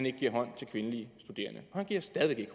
ikke giver hånd til kvindelige studerende og han giver stadig